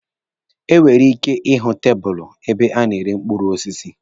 E nwere ike ihụ tabụlụ ebe a na-ere mkpụrụ osisi.